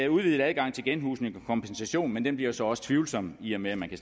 udvidet adgang til genhusning og kompensation men den bliver så også tvivlsom i og med at man kan